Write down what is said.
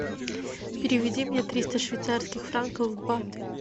переведи мне триста швейцарских франков в баты